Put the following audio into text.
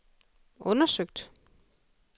undersøgt